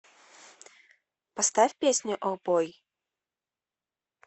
поставь песню оу бой